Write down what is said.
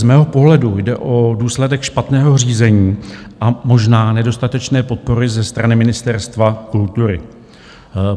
Z mého pohledu jde o důsledek špatného řízení a možná nedostatečné podpory ze strany Ministerstva kultury.